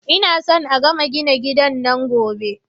Ina so a gama gina gidan nan Gobe